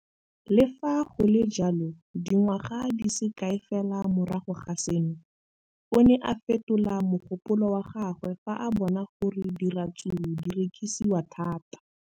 Le fa go le jalo, dingwaga di se kae fela morago ga seno, o ne a fetola mogopolo wa gagwe fa a bona gore diratsuru di rekisiwa thata.